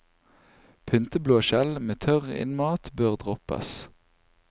Pynteblåskjell med tørr innmat bør droppes.